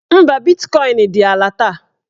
Mba, bitkọin dị ala taa